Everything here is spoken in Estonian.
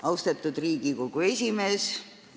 Austatud Riigikogu esimees!